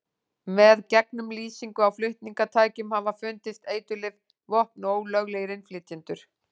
Með gegnumlýsingu á flutningatækjum hafa fundist eiturlyf, vopn og ólöglegir innflytjendur.